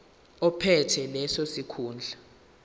ophethe leso sikhundla